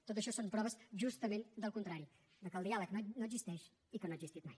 tot això són proves justament del contrari que el diàleg no existeix i que no ha existit mai